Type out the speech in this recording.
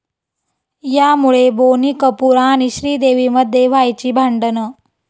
यामुळे' बोनी कपूर आणि श्रीदेवीमध्ये व्हायची भांडणं!